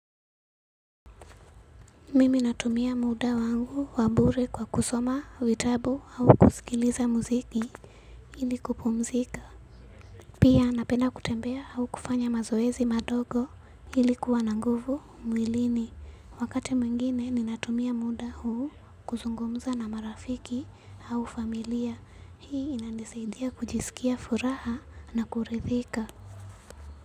Mimi natumia muda wangu wa bure kwa kusoma, vitabu au kusikiliza muziki ili kupumzika. Pia napenda kutembea au kufanya mazoezi madogo ili kuwa na nguvu mwilini. Wakati mwingine ninatumia muda huu kuzungumza na marafiki au familia. Hii inanisaidia kujisikia furaha na kuridhika.